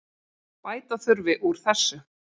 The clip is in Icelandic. Bæta þurfi úr þessu.